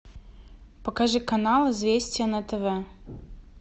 покажи канал известия на тв